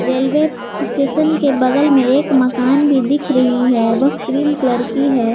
Railway station के बगल में एक मकान भी दिख रही है वह क्रीम कलर की है।